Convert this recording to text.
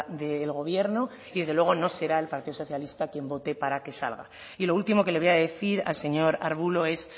del gobierno y desde luego no será el partido socialista quien vote para que salga y lo último que le voy a decir al señor arbulo es